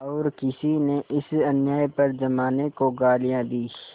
और किसी ने इस अन्याय पर जमाने को गालियाँ दीं